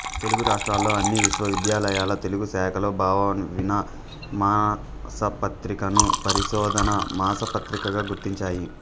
తెలుగు రాష్ట్రాల్లో అన్ని విశ్వవిద్యాలయాల తెలుగు శాఖలు భావవీణ మాసపత్రికను పరిశోధన మాసపత్రికగా గుర్తించాయి